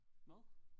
Hvad